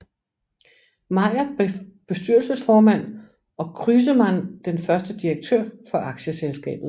Meier blev bestyrelsesformand og Crüseman den første direktør for aktieselskabet